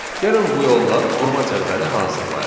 Gəlin bu yolla vurma cədvəli hazırlayaq.